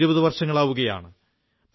ഇപ്പോൾ ഇരുപതു വർഷങ്ങളാവുകയാണ്